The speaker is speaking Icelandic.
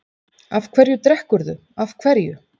Af hverju drekkurðu, af hverju?